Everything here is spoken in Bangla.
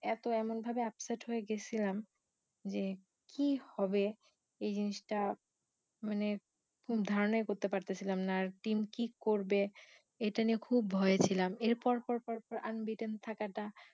এতো এমন ভাবে upset হয়ে গেছিলাম যে কি হবে এই জিনিসটা মানে ধারণাই করতে পারতেছিলাম না আর team কি করবে এইটা নিয়ে খুব ভয়ে ছিলাম এর পর পর পর পর unbeaten থাকাটা